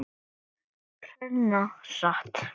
Hreina satt.